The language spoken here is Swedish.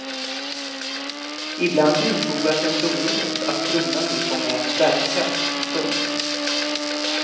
Ibland bifogas en prognos att kronan nu kommer att stärkas. punkt